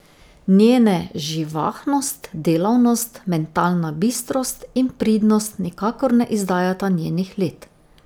Njene živahnost, delavnost, mentalna bistrost in pridnost nikakor ne izdajata njenih let.